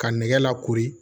Ka nɛgɛ lakori